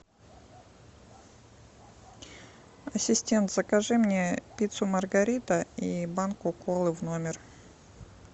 ассистент закажи мне пиццу маргарита и банку колы в номер